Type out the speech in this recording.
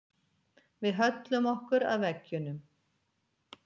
Við höllum okkur að veggjunum.